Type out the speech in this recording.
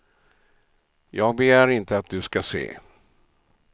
Jag begär inte att du ska se.